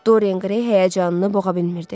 Doryan Qrey həyəcanını boğa bilmirdi.